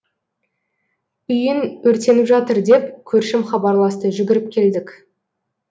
үйің өртеніп жатыр деп көршім хабарласты жүгіріп келдік